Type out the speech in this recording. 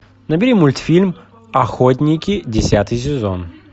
набери мультфильм охотники десятый сезон